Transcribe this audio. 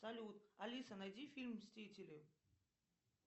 салют алиса найди фильм мстители